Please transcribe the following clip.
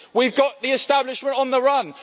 We've got the establishment on the run.